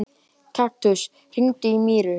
Kaktus, hringdu í Míru.